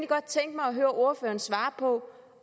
godt tænke mig at høre ordføreren svare på